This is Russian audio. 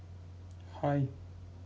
хай